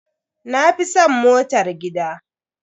Na fi san motar gida.